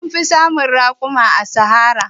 An fi samun raƙuma a Sahara.